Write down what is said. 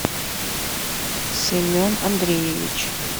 семен андреевич